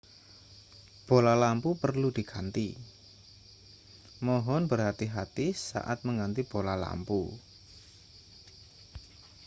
bola lampu perlu diganti mohon berhati-hati saat mengganti bola lampu